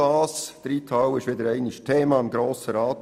Die Reithalle ist wieder einmal Thema im Grossen Rat.